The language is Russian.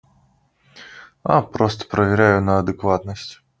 а просто проверяю на адекватность